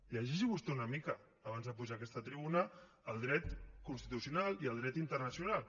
llegeixi vostè una mica abans de pujar a aquesta tribuna el dret constitucional i el dret internacional